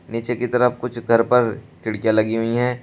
नीचे की तरफ कुछ घर पर खिड़कियां लगी हुई है।